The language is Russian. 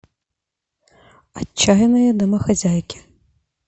отчаянные домохозяйки